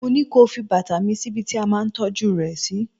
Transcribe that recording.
mo ní kí o fi bàtà mı sí ibi tí a ma ń tọ́jú rẹ si